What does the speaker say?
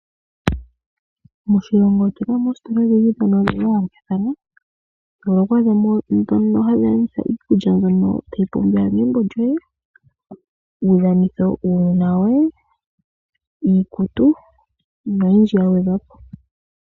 Moshilongo otu na mo oositola odhindji ndhono dha yoolokathana mono ho adha mo ndhono hadhi landitha iikulya mbyono tayi pumbiwa megumbo lyoye, uudhanitho wuunona woye, iikutu noyindji ya gwedhwa po.